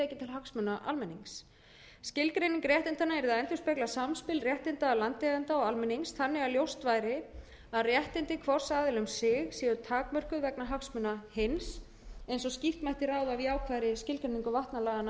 hagsmuna almennings skilgreining réttindanna yrði að endurspegla samspil réttinda landeigenda og almennings þannig að ljóst væri að réttindi hvors aðila um sig séu takmörkuð vegna hagsmuna hins eins og skýrt mætti ráða af jákvæðri skilgreiningu vatnalaga sem nú eru í gildi